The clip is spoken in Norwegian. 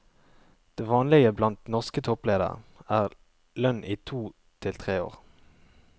Det vanlige blant norske toppledere er lønn i to til tre år.